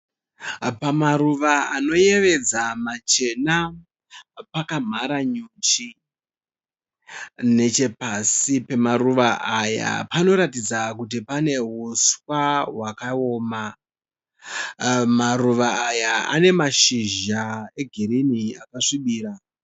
Pamaruva anoyevedza machena pakamhara nyuchi. Nechepasi pemaruva aya panoratidza kuti pane huswa hwakaoma. Maruva aya ane mashizha egirinhi akasvibira.